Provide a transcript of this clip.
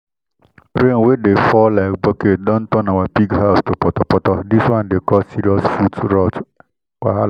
rain wey dey fall like bucket don turn our pig house to potopoto this one dey cause serious foot rot wahala